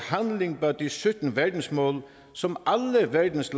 handling bag de sytten verdensmål som alle verdens